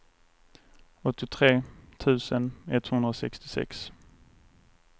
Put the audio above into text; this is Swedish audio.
åttiotre tusen etthundrasextiosex